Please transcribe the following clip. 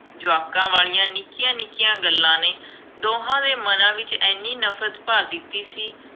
ਜਵਾਕਾਂ ਵਾਲੀਆ ਨਿੱਕੀਆਂ-ਨਿੱਕੀਆਂ ਗੱਲਾਂ ਨੇ, ਦੋਹਾਂ ਦੇ ਮਨਾਂ ਵਿੱਚ ਐਨੀ ਨਫਰਤ ਭਰ ਦਿੱਤੀ ਸੀ,